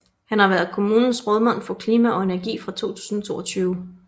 Han har været kommunens rådmand for Klima og Energi fra 2022